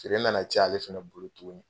Tele nana diya ale fɛnɛ bolo tuguni.